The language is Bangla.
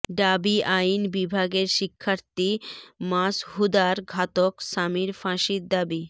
ঢাবি আইন বিভাগের শিক্ষার্থী মাশহুদার ঘাতক স্বামীর ফাঁসির দাবি